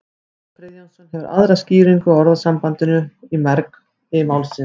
jón friðjónsson hefur aðra skýringu á orðasambandinu í mergi málsins